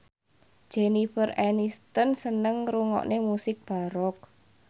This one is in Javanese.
Jennifer Aniston seneng ngrungokne musik baroque